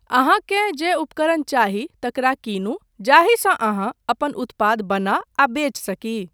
अहाँकेँ जे उपकरण चाही, तकरा कीनू जाहिसँ अहाँ अपन उत्पाद बना आ बेच सकी।